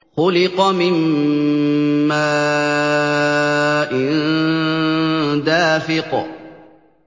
خُلِقَ مِن مَّاءٍ دَافِقٍ